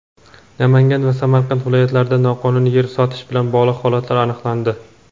Namangan va Samarqand viloyatlarida noqonuniy yer sotish bilan bog‘liq holatlar aniqlandi.